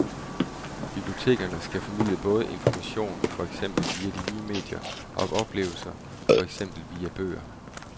Bibliotekerne skal formidle både information, for eksempel via de nye medier, og oplevelser, for eksempel via bøger.